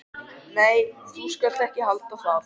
Nei, þú skalt ekki halda það!